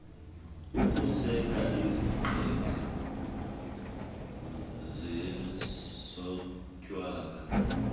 ukuseka izigqeba zezotywala